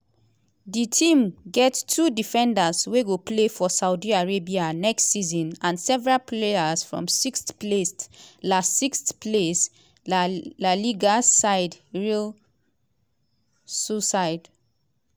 di team get two defenders wey go play for saudi arabia next season and several players from sixth-placed la sixth-placed la liga side real sociedad.